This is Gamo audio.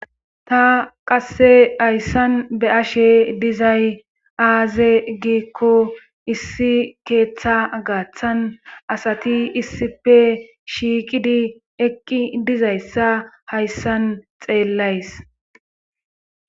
ta qasse hayssan be ashe dizay aaze giikko issi keeththa gaaththan asati issife shiiqidi eqqi dizayssa hayssan xeellays